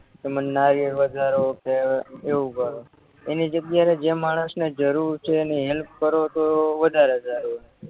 કે મન નાર્યર વધારો કે એવું કરો એની જગ્યાએ જે માણસને જરૂર છે એને હેલ્પ કરો તો વધારે સારું એમ